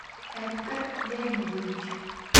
эдгар леонидович